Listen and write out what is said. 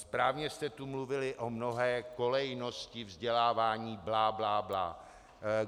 Správně jste tu mluvili o mnohé kolejnosti vzdělávání, bla bla bla.